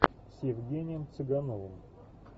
с евгением цыгановым